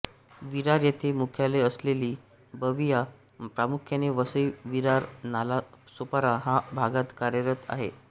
विरार येथे मुख्यालय असलेली बविआ प्रामुख्याने वसईविरारनालासोपारा ह्या भागात कार्यरत आहे